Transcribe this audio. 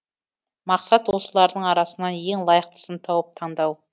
мақсат осылардың арасынан ең лайықтысын тауып таңдау